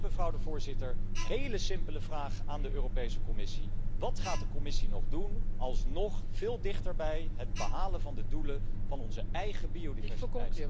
Dus, mevrouw de voorzitter, een hele simpele vraag aan de Europese Commissie wat gaat de Commissie nog doen, om alsnog veel dichter bij het behalen van de doelen van onze eigen biodiversiteit